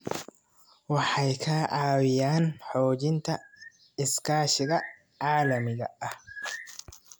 Waxay ka caawiyaan xoojinta iskaashiga caalamiga ah.